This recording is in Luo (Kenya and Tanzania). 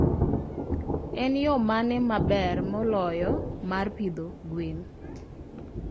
En yo mane maber moloyo mar pidho gwen?